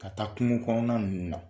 Ka taa kungo kɔnɔna nunnu na.